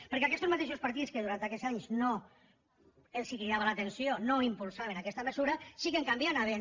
perquè aquestos mateixos partits que durant aquests anys no els cridava l’atenció no impulsaven aquesta mesura sí que en canvi anaven